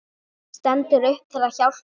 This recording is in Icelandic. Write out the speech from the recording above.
Stendur upp til að hjálpa.